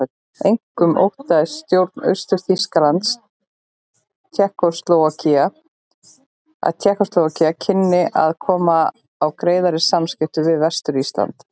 Einkum óttaðist stjórn Austur-Þýskalands að Tékkóslóvakía kynni að koma á greiðari samskiptum við Vestur-Þýskaland.